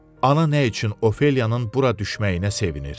ana nə üçün Ofeliyanın bura düşməyinə sevinir.